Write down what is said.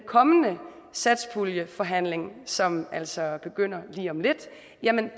kommende satspuljeforhandlinger som altså begynder lige om lidt